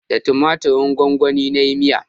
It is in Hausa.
Da tumatirin gwanwani na yi miya